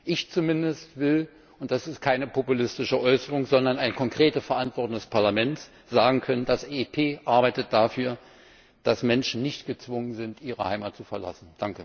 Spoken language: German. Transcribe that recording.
Ich zumindest und das ist keine populistische Äußerung, sondern eine konkrete Verantwortung des Parlaments will sagen können Das EP arbeitet dafür, dass Menschen nicht gezwungen sind, ihre Heimat zu verlassen.